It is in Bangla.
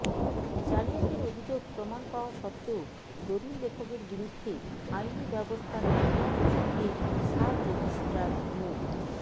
জালিয়াতির অভিযোগ প্রমাণ পাওয়া সত্ত্বেও দলিল লেখকের বিরুদ্ধে আইনি ব্যবস্থা না নেওয়া প্রসঙ্গে সাবরেজিস্ট্রার মো